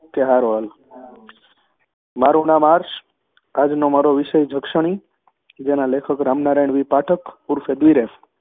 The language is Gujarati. તે હારું હાલ મારુ નામ આર્ષ આજનો મારો વિષય જક્ષણી જેમના લેખક રામનારાયણ વી પાઠક ઉર્ફે દ્રિરેફ